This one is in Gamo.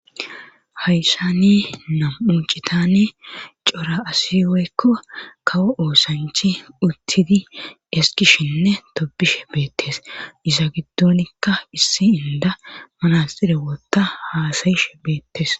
hayssani nam7u citan cora asi woykko kawo oosanchi uttidi eskishinne tobishe beettes isa giddonikka issi inda manasxire wotta haasayishe beettes